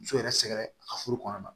Muso yɛrɛ sɛgɛn a ka furu kɔnɔna na